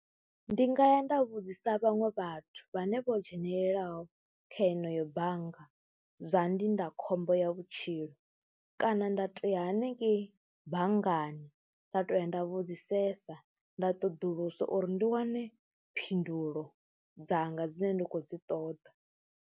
Ndi nga ya nda vhudzisa vhaṅwe vhathu vhane vho dzhenelelaho kha yeneyo bannga zwa ndindakhombo ya vhutshilo kana nda tou ya haningei banngani, nda tou ya nda vhudzisesa nda ṱoḓulusa uri ndi wane phindulo dzanga dzine nda khou dzi ṱoḓa,